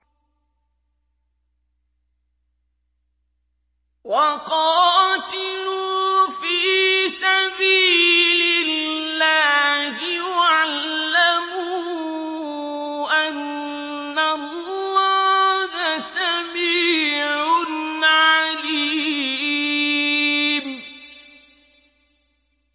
وَقَاتِلُوا فِي سَبِيلِ اللَّهِ وَاعْلَمُوا أَنَّ اللَّهَ سَمِيعٌ عَلِيمٌ